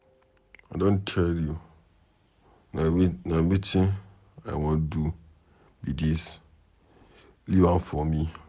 I don tell you, na wetin I wan do be dis, leave am for me.